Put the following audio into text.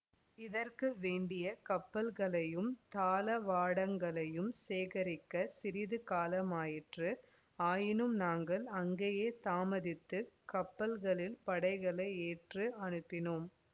இதற்கு வேண்டிய கப்பல்களையும் தளவாடங்களையும் சேகரிக்கச் சிறிது காலமாயிற்று ஆயினும் நாங்கள் அங்கேயே தாமதித்து கப்பல்களில் படைகளை ஏற்றி அனுப்பினோம்